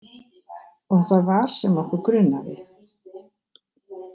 Og það var sem okkur grunaði.